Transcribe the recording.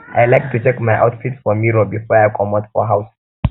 um i like to check my outfit for mirror before i comot um for house